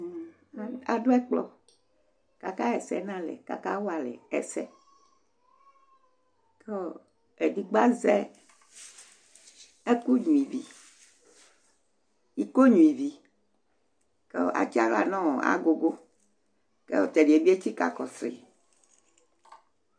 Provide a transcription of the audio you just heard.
Aɖu ɛkplɔ aka yɛsɛ ŋu alɛ kʋ akawalɛ ɛsɛ Ɛɖìgbo azɛ iko nyʋivi kʋ atsi aɣla ŋu agʋgu kʋ tɛɖiɛ bi etsika kɔsʋi